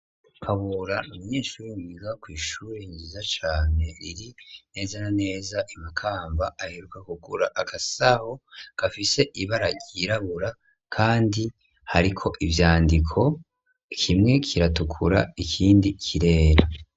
Kabura, ni umyeshuri, yiga kw'ishuri nziza cane, iri neza na neza, I Makamba; aheruka kugura agasaho, gafise ibara ryirabura, kandi hariko ivyandiko, kimwe kiratukura, ikindi kirera.